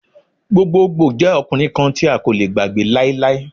Gbogbogbo jẹ ọkunrin kan ti a ko le gbagbe lailai.